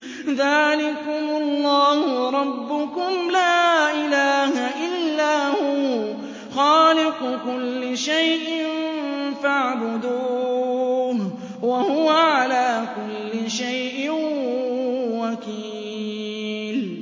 ذَٰلِكُمُ اللَّهُ رَبُّكُمْ ۖ لَا إِلَٰهَ إِلَّا هُوَ ۖ خَالِقُ كُلِّ شَيْءٍ فَاعْبُدُوهُ ۚ وَهُوَ عَلَىٰ كُلِّ شَيْءٍ وَكِيلٌ